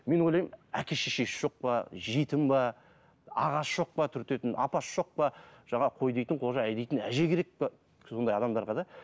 мен ойлаймын әке шешесі жоқ па жетім ба ағасы жоқ па түртетін апасы жоқ па жаңағы қой дейтін қожа әй дейтін әже керек пе сондай адамдарға да